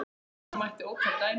Nefna mætti ótal dæmi.